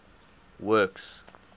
works